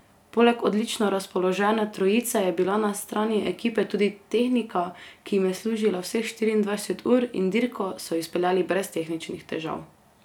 Poleg odlično razpoložene trojice je bila na strani ekipe tudi tehnika, ki jim je služila vseh štiriindvajset ur in dirko so izpeljali brez tehničnih težav.